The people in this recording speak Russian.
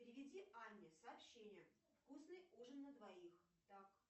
переведи анне сообщение вкусный ужин на двоих так